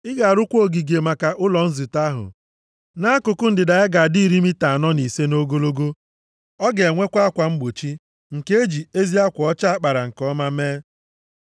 “Ị ga-arụkwa ogige maka ụlọ nzute ahụ. Nʼakụkụ ndịda ya ga-adị iri mita anọ na ise nʼogologo. Ọ ga-enwekwa akwa mgbochi nke e ji ezi akwa ọcha a kpara nke ọma mee.